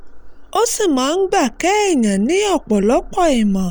ó sì máa ń gba kéèyàn ní ọ̀pọ̀lọpọ̀ ìmọ̀